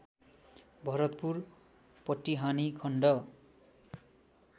भरतपुर पटिहानि खण्ड